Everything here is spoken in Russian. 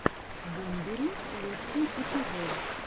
бумбери лучший эпизод